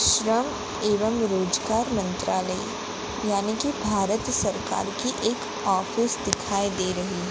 श्रम एवं रोजगार मंत्रालय यानी कि भारत सरकार की एक ऑफिस दिखाई दे रही--